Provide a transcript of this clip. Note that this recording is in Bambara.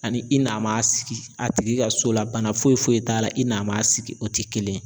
Ani i na ma sigi a tigi ka so la, bana foyi foyi t'a la i na ma sigi .O te kelen ye.